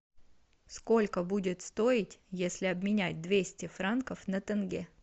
сколько будет стоить если обменять двести франков на тенге